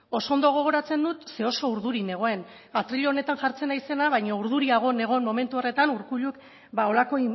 oso ondo gogoratzen dut ze oso urduri nengoen atril honetan jartzen naizena baina urduriago nengoen momentu horretan urkulluk holako